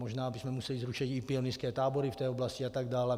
Možná bychom museli zrušit i pionýrské tábory v té oblasti atd.